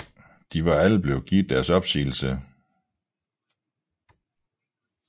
De var alle blevet givet deres opsigelse